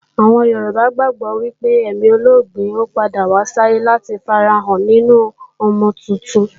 Àwọn Yorùbá gbàgbó wípé èmi olóògbé yóò padà wá sáyé láti fi ara rẹ̀ hàn nínu ọmọ tuntun